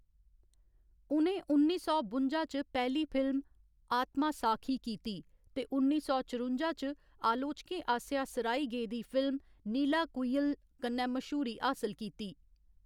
उ'नें उन्नी सौ बुंजा च पैह्‌ली फिल्म आत्मासाखी कीती ते उन्नी सौ चरुंजा च आलोचकें आसेआ सराही गेदी फिल्म नीलाकुयिल कन्नै मश्हूरी हासल कीती।